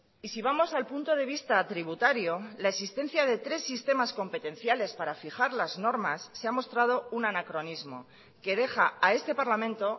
y si vamos al punto de vista tributario la existencia de tres sistemas competenciales para fijar las normas se ha mostrado un anacronismo que deja a este parlamento